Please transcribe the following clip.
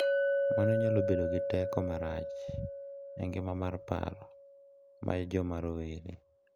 Mano nyalo bedo gi teko marach e ngima mar paro mar joma rowere.